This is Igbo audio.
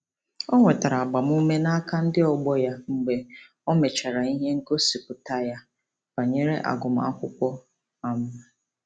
O nwetara agbamume n'aka ndị ọgbọ ya mgbe o mechara ihe ngosipụta ya banyere agụmakwụkwọ. um